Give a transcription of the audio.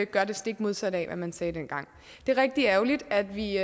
gør det stik modsatte af hvad man sagde dengang det er rigtig ærgerligt at vi